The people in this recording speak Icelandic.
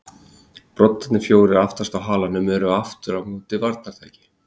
Broddarnir fjórir aftast á halanum voru aftur á móti varnartæki.